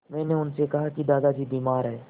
मैंने उनसे कहा कि दादाजी बीमार हैं